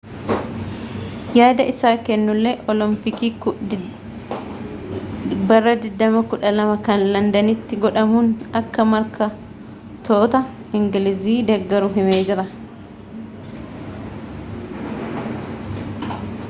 yaada isaa kennullee olompikii 2012 kan londanitti godhamuun akka morkattoota ingilizii deggaru himee jira